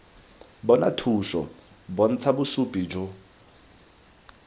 bona thuso bontsha bosupi jo